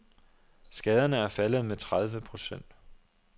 Skaderne er faldet med tredive procent.